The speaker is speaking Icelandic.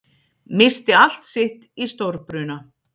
Missti allt sitt í stórbruna